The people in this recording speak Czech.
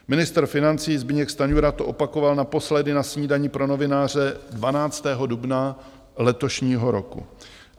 Ministr financí Zbyněk Stanjura to opakoval naposledy na snídani pro novináře 12. dubna letošního roku.